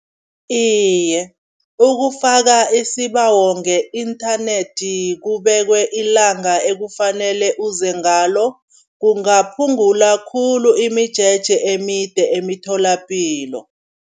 Iye, ukufaka isibawo nge-internet kubekwe ilanga ekufanele uze ngalo, kungaphungula khulu imijeje emide emitholapilo.